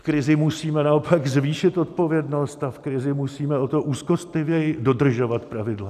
V krizi musíme naopak zvýšit odpovědnost a v krizi musíme o to úzkostlivěji dodržovat pravidla.